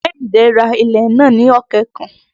Kẹ́hìndé rá ilẹ̀ nàá ní ọ̀kẹ́ kan.